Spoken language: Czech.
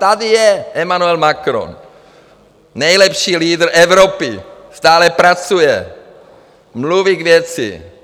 Tady je Emanuel Macron, nejlepší leader Evropy, stále pracuje, mluví k věci.